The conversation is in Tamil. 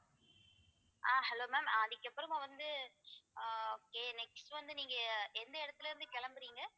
ஆஹ் hello ma'am அதுக்கப்புறமா வந்து ஆஹ் okay next வந்து நீங்க எந்த இடத்துல இருந்து கிளம்புறீங்க